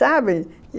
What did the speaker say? Sabe?